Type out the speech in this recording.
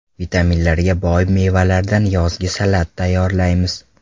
Vitaminlarga boy mevalardan yozgi salat tayyorlaymiz.